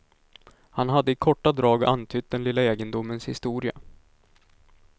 Han hade i korta drag antytt den lilla egendomens historia.